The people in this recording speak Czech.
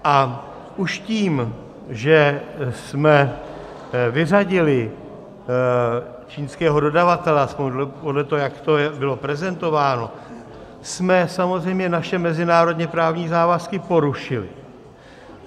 A už tím, že jsme vyřadili čínského dodavatele, aspoň podle toho, jak to bylo prezentováno, jsme samozřejmě naše mezinárodně právní závazky porušili.